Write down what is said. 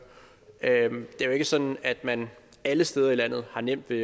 det er jo ikke sådan at man alle steder i landet har nemt ved